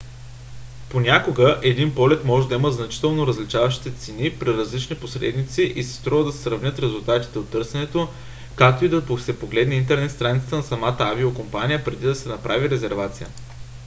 понякога един полет може да има значително различаващи се цени при различни посредници и си струва да се сравнят резултатите от търсенето както и да се погледне интернет страницата на самата авиокомпания преди да се направи резервация